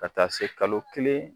Ka taa se kalo kelen